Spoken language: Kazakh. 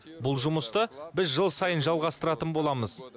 бұл жұмысты біз жыл сайын жалғастыратын боламыз